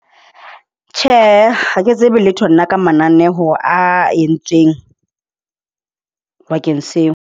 Tjhe, ha ke tsebe letho nna ka mananeho a e ntsweng bakeng seo.